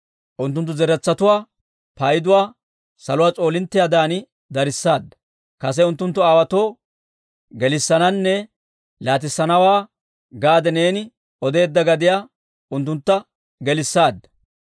Unttunttu zeretsatuwaa payduwaa saluwaa s'oolinttiyaadan darissaadda. Kase unttunttu aawaatoo gelissananne laatissana gaade neeni odeedda gadiyaa unttuntta gelissaadda.